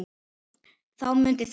Þá mundi þrennt gerast